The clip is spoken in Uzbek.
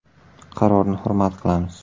Qarorni hurmat qilamiz.